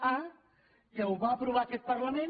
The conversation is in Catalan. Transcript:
a que ho va aprovar aquest parlament